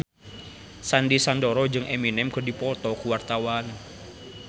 Sandy Sandoro jeung Eminem keur dipoto ku wartawan